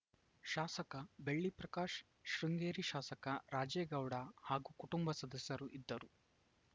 ಶಾಸಕ ಬೆಳ್ಳಿಪ್ರಕಾಶ್‌ ಶೃಂಗೇರಿ ಶಾಸಕ ರಾಜೇಗೌಡ ಹಾಗೂ ಕುಟುಂಬ ಸದಸ್ಯರು ಇದ್ದರು